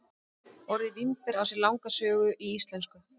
Orðið vínber á sér langa sögu í íslensku.